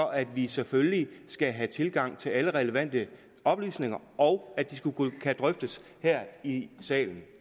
at vi selvfølgelig skal have tilgang til alle relevante oplysninger og at de skal kunne drøftes her i salen